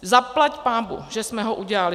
Zaplať pánbůh, že jsme ho udělali.